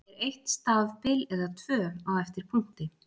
Er eitt stafbil eða tvö á eftir punkti?